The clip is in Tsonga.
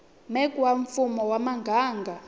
mec wa mfumo wa muganga